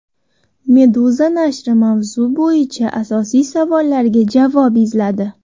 Meduza nashri mavzu bo‘yicha asosiy savollarga javob izladi .